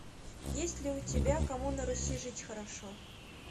есть ли у тебя кому на руси жить хорошо